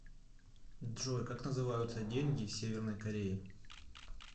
джой как называются деньги северной кореи